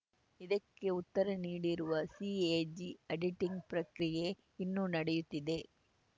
ಇದಕ್ಕೆ ಉತ್ತರ ನೀಡಿರುವ ಸಿಎಜಿ ಆಡಿಟಿಂಗ್‌ ಪ್ರಕ್ರಿಯೆ ಇನ್ನೂ ನಡೆಯುತ್ತಿದೆ